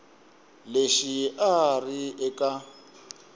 lexi a a ri eka